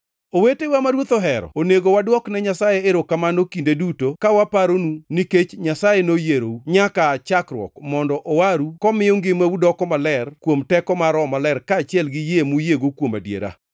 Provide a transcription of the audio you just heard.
Owetewa ma Ruoth ohero, onego wadwokne Nyasaye erokamano kinde duto ka waparou nikech Nyasaye noyierou + 2:13 Loko moko machon wacho ni, “Nyasaye noyierou kaka nyak mar olemo mokwongo”. nyaka aa chakruok mondo owaru komiyo ngimau doko maler kuom teko mar Roho Maler kaachiel gi yie muyiego kuom adiera.